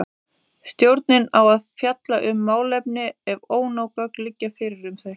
Stjórnin á að fjalla um málefni ef ónóg gögn liggja fyrir um þau.